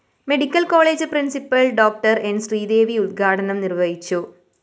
medical college principal‍ Dr N Sreedevi ഉദ്ഘാടനം നിര്‍വഹിച്ചു